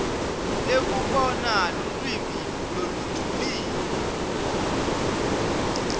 lekubona lulwimi lolujulile